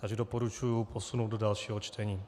Takže doporučuji posunout do dalšího čtení.